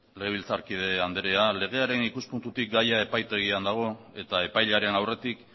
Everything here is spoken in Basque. legebiltzarkide andrea legearen ikuspuntutik gaia epaitegian daude eta epaiaren aurretik